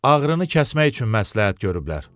Ağrını kəsmək üçün məsləhət görüblər.